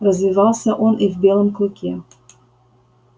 развивался он и в белом клыке